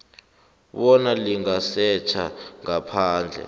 bona lingasetjha ngaphandle